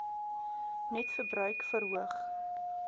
net verbruik verhoog